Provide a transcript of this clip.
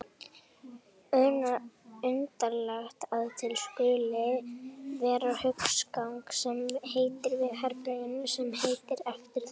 Undarlegt að til skuli vera húsgagn sem heitir eftir herberginu sem heitir eftir því.